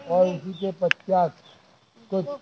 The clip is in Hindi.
के पश्चात कोई--